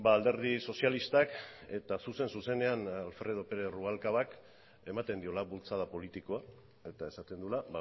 alderdi sozialistak eta zuzen zuzenean alfredo pérez rubalcabak ematen diola bultzada politikoa eta esaten duela